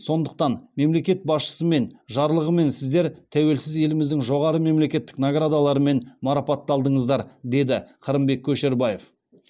сондықтан мемлекет басшысымен жарлығымен сіздер тәуелсіз еліміздің жоғары мемлекеттік наградаларымен марапатталдыңыздар деді қырымбек көшербаев